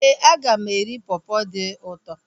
Éè, aga m eri pọpọ dị ụtọ